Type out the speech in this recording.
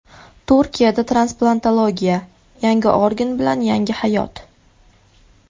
Turkiyada transplantologiya: Yangi organ bilan yangi hayot.